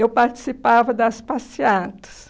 Eu participava das passeatas.